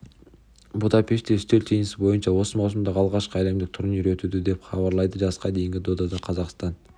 будапештте үстел теннисі бойынша осы маусымдағы алғашқы әлемдік турнир өтуде деп хабарлайды жасқа дейінгі додада қазақстан